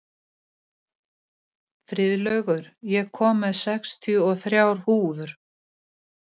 Efnið sem keilan er gerð úr þarf að vera stíft og létt.